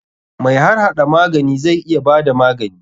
Mai harhada magani zai iya bada magani.